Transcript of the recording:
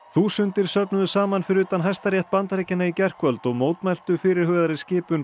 þúsundir söfnuðust saman fyrir utan Hæstarétt Bandaríkjanna í gærkvöld og mótmæltu fyrirhugaðri skipan